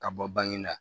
Ka bɔ bange la